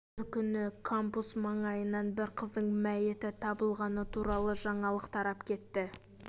бір күні кампус маңайынан бір қыздың мәйіті табылғаны туралы жаңалық тарап кетті